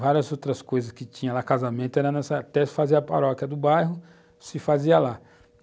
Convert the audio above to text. várias outras coisas que tinha lá, casamento, era nessa, até se fazia a paróquia do bairro, se fazia lá.